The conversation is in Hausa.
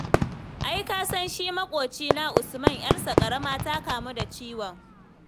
Ai ka san shi ma maƙocina Usman ƴarsa ƙarama ta kamu da ciwon.